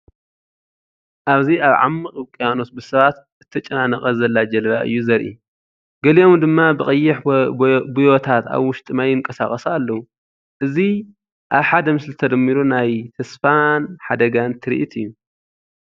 ኣብዚ ኣብ ዓሚቝ ውቅያኖስ ብሰባት እተጨናነቐት ዘላ ጃልባ እየ ዘርኢ። ገሊኦም ድማ ብቐይሕ ቡዮታት ኣብ ውሽጢ ማይ ይንቀሳቐሱ ኣለው። እዚ ኣብ ሓደ ምስሊ ተደሚሩ ናይ ተስፋን ሓደጋን ትርኢት እዩ።